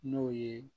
N'o ye